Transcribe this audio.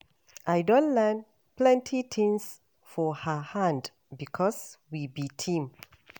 I don learn plenty tins for her hand because we be team.